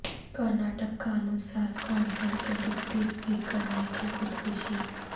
کرناٹک قانون ساز کونسل کے ڈپٹی اسپیکر نے کی خودکشی